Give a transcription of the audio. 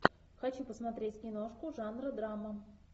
хочу посмотреть киношку жанра драма